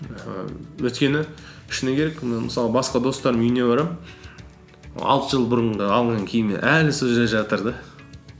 ііі өйткені шыны керек міне мысалы басқа достарымның үйіне барамын алты жыл бұрынғы алынған киімі әлі сол жерде жатыр да